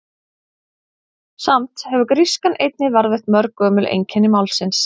Samt hefur grískan einnig varðveitt mörg gömul einkenni málsins.